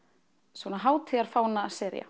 svona